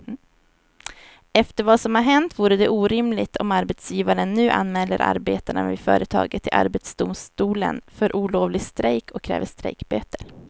Efter vad som har hänt vore det orimligt om arbetsgivaren nu anmäler arbetarna vid företaget till arbetsdomstolen för olovlig strejk och kräver strejkböter.